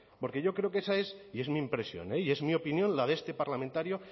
porque yo creo que esa es y es mi impresión y es mi opinión la de este parlamentario